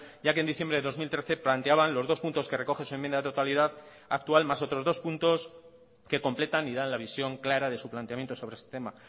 ya que en diciembre de dos mil trece planteaban los dos puntos que recoge su enmienda de totalidad actual más otros dos puntos que completan y dan la visión clara de su planteamiento sobre este tema